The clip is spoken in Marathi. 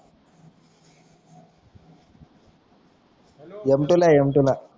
hello M T M T ला